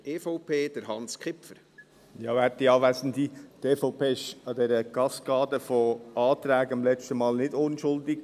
Die EVP war an dieser Kaskade von Anträgen beim letzten Mal nicht unschuldig.